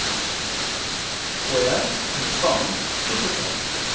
fooie ontvang toegeval